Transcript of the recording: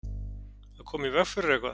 Að koma í veg fyrir eitthvað